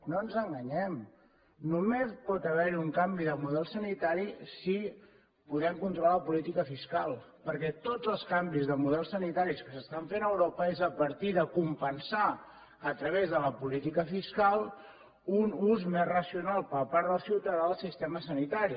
no ens enganyem només hi pot haver un canvi de model sanitari si podem controlar la política fiscal perquè tots els canvis de model sanitaris que s’estan fent a europa són a partir de compensar a través de la política fiscal un ús més racional per part del ciutadà al sistema sanitari